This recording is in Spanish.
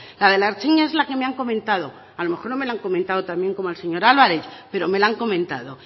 la de la ertzaintza es la que me han comentado a lo mejor no me la han comentado tan bien como al señor álvarez pero me la han comentado